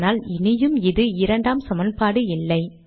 ஆனால் இனியும் இது 2 ஆம் சமன்பாடு இல்லை